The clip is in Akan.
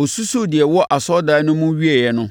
Ɔsusuu deɛ ɛwɔ asɔredan no mu wieeɛ no,